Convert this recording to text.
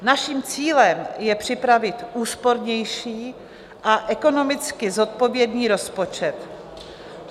Naším cílem je připravit úspornější a ekonomicky zodpovědný rozpočet.